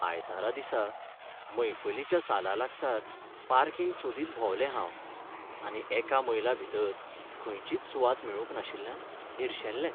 आयतारा दिसा मैफलीच्या सालालागसार पार्किंग सोदीत भोंवलें हांव आनी एका मैलाभितर खंयचीच सुवात मेळूंक नाशिल्ल्यान निरशेल्लें.